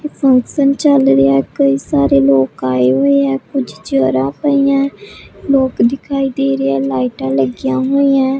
Function ਚੱਲ ਰਿਹਾ ਕਈ ਸਾਰੇ ਲੋਕ ਆਏ ਹੋਏ ਆ ਕੁਝ ਚੇਅਰਾਂ ਪਈਆਂ ਲੋਕ ਦਿਖਾਈ ਦੇ ਰਹੇ ਲਾਈਟਾਂ ਲੱਗੀਆਂ ਹੋਈਆਂ।